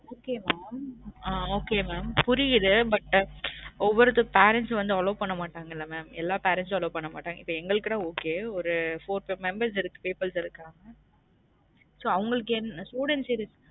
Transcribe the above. Okay mam ஆஹ் okay mam புரியுது but ஒவ்வொருத்த parents வந்து allow பண்ண மட்டங்கள mam எல்லா parents ம் allow பன்ன மாட்டங்க எங்களுக்கு ன okay ஒரு four five members peoples இருக்காங்க so அவுங்களுக்கு என் students இருக்~